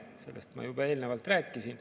Sellest ma juba eelnevalt rääkisin.